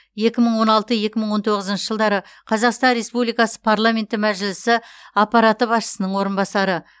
екі мың он алты екі мың он тоғызыншы жылдары қазақстан республикасы парламенті мәжілісі аппараты басшысының орынбасары